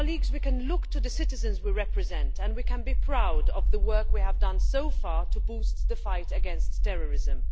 We can look to the citizens we represent and we can be proud of the work we have done so far to boost the fight against terrorism.